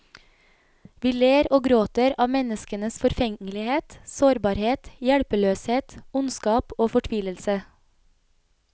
Vi ler og gråter av menneskenes forfengelighet, sårbarhet, hjelpeløshet, ondskap og fortvilelse.